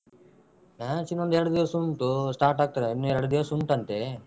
Match ಇನ್ನೊಂದೆರಡು ದಿವ್ಸ ಉಂಟು start ಆಗ್ತದೆ ಇನ್ನು ಎರಡು ದಿವಸ ಉಂಟಂತೆ.